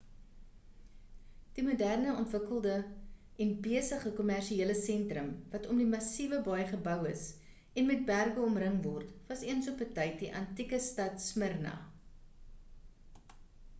die moderne ontwikkelde en besige kommersiele sentrum wat om die massiewe baai gebou is en met berge omring word was eens op 'n tyd die antieke stad smyrna